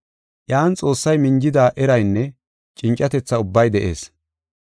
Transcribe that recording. Iyan Xoossay minjida eraynne cincatetha ubbay de7ees.